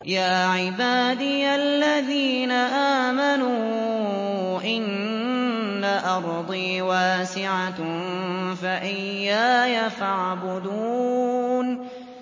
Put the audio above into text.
يَا عِبَادِيَ الَّذِينَ آمَنُوا إِنَّ أَرْضِي وَاسِعَةٌ فَإِيَّايَ فَاعْبُدُونِ